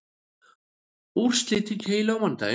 Úrslit í keilu á mánudaginn